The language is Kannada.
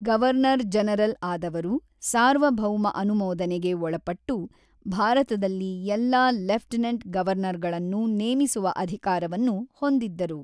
ಗವರ್ನರ್-ಜನರಲ್ ಆದವರು, ಸಾರ್ವಭೌಮ ಅನುಮೋದನೆಗೆ ಒಳಪಟ್ಟು ಭಾರತದಲ್ಲಿ ಎಲ್ಲಾ ಲೆಫ್ಟೆನೆಂಟ್ ಗವರ್ನರ್‌ಗಳನ್ನು ನೇಮಿಸುವ ಅಧಿಕಾರವನ್ನು ಹೊಂದಿದ್ದರು.